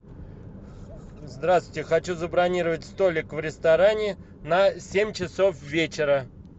здравствуйте хочу забронировать столик в ресторане на семь часов вечера